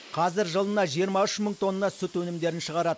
қазір жылына жиырма үш мың тонна сүт өнімдерін шығарады